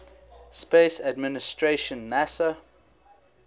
space administration nasa